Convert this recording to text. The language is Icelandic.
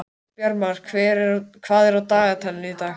Bjarmar, hvað er á dagatalinu í dag?